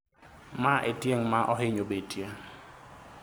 ma e otieng' ma ohinyo betie